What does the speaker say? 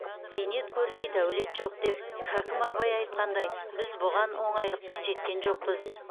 бейнет көрмей дәулет жоқ деп хәкім абай айтқандай біз бұған оңайлықпен жеткен жоқпыз